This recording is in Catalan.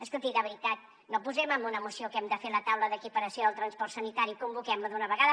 escolti de veritat no posem en una moció que hem de fer la taula d’equiparació del transport sanitari i convoquem la d’una vegada